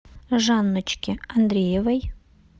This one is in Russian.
жанночке андреевой